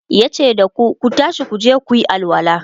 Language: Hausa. yace dasu "Ku tashi kuje kuyi alwala!"